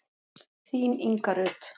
Þín Inga Rut.